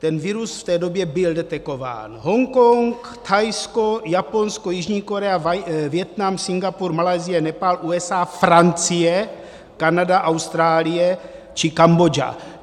Ten virus v té době byl detekován: Hongkong, Thajsko, Japonsko, Jižní Korea, Vietnam, Singapur, Malajsie, Nepál, USA, Francie, Kanada, Austrálie či Kambodža.